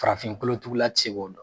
Farafin kolo tugula ti se k'o dɔn